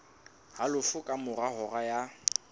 halofo ka mora hora ya